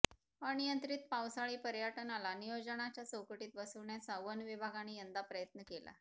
अनियंत्रित पावसाळी पर्यटनाला नियोजनाच्या चौकटीत बसविण्याचा वन विभागाने यंदा प्रयत्न केला